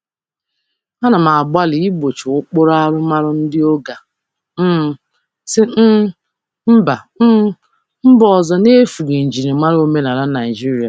Ana m agbalị igbochi ụkpụrụ arụmọrụ ndị oga si mba ọzọ n'efughị njirimara omenala Naịjirịa.